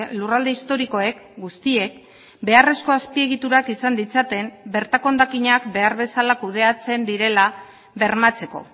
lurralde historikoek guztiek beharrezko azpiegiturak izan ditzaten bertako hondakinak behar bezala kudeatzen direla bermatzeko